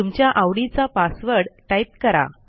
तुमच्या आवडीचा password type करा